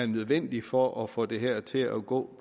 nødvendig for at få det her til at gå